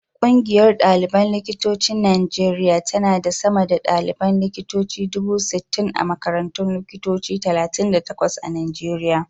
Ƙungiyar ɗaliban likitocin Najeriya tana da sama da ɗaliban likitoci dubu sittin a makarantun likitoci talatin da takwas a Najeriya.